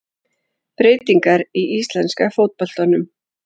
Breytingar í íslenska fótboltanum